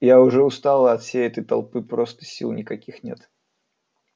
я уже устала от всей этой толпы просто сил никаких нет